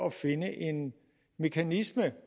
at finde en mekanisme